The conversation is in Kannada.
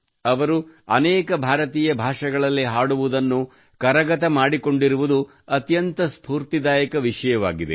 ಅವರು ಅನೇಕ ಭಾರತೀಯ ಭಾಷೆಗಳಲ್ಲಿ ಹಾಡುವುದನ್ನು ಕರಗತ ಮಾಡಿಕೊಂಡಿರುವುದು ಅತ್ಯಂತ ಸ್ಪೂರ್ತಿದಾಯಕ ವಿಷಯವಾಗಿದೆ